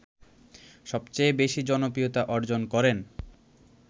সবচেয়ে বেশী জনপ্রিয়তা অর্জন করেন